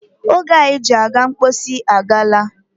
Oge anyị ji aga mposi agaala.